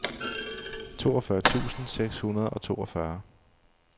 toogfyrre tusind seks hundrede og toogfyrre